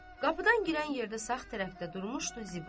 Qapıdan girən yerdə sağ tərəfdə durmuşdu Ziba.